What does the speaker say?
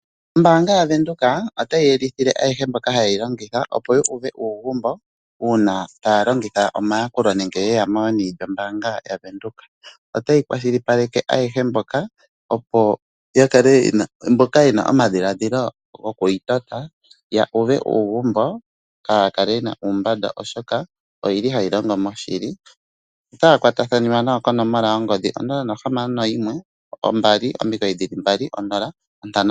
Ombaanga yaVenduka otayi tseyithile ayehe mboka haye yi longitha opo yu uve uugumbo uuna taya longitha omayakulo nenge yeya meni lyombaanga yaVenduka. Otayi kwashilipaleke mboka yena omadhiladhilo gokuyi tota ya uve uugumbo, kaaya kale yena uumbanda oshoka oyili hayi longo moshili. otaya kwatathaniwa nayo konomola yongodhi 0612990500.